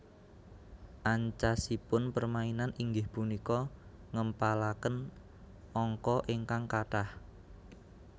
Ancasipun permainan inggih punika ngèmpalakèn angka ingkang katah